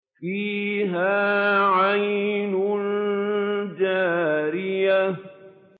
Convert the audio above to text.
فِيهَا عَيْنٌ جَارِيَةٌ